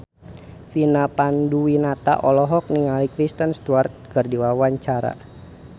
Vina Panduwinata olohok ningali Kristen Stewart keur diwawancara